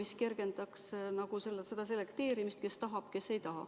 See kergendaks selekteerimist, kes seda tahab, kes ei taha.